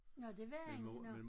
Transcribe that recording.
Nåh det var han nåh